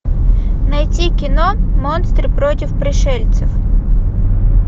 найти кино монстры против пришельцев